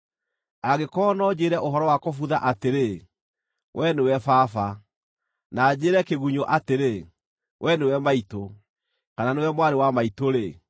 angĩkorwo no njĩĩre ũhoro wa kũbutha atĩrĩ, ‘Wee nĩwe baba,’ na njĩĩre kĩgunyũ atĩrĩ, ‘Wee nĩwe maitũ’ kana ‘Nĩwe mwarĩ wa maitũ-rĩ’,